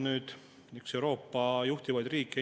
tahaksid lihtsalt teha tööd, mis neile meeldib.